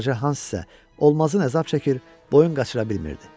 Balaca Hans isə olmazın əzab çəkir, boyun qaçıra bilmirdi.